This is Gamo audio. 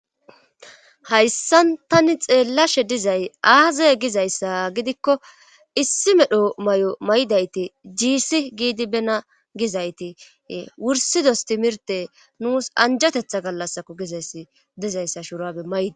Hayssan tani xeellashe dizay aaza gizayssa gidikko issi medho may'o may'dayti jiissi giidi bena gizayti wursidos timirte nuus anjatetha gallasako gizayssi dizayssa shurabe may'da.